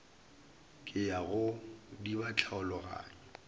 ke ya go diba tlhaologanyo